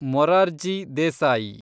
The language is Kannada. ಮೊರಾರ್ಜಿ ದೇಸಾಯಿ